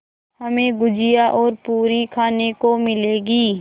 हमें गुझिया और पूरी खाने को मिलेंगी